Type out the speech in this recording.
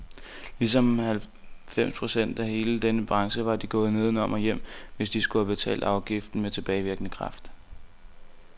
Ligesom halvfems procent af hele denne branche var de gået nedenom og hjem, hvis de skulle have betalt afgiften med tilbagevirkende kraft.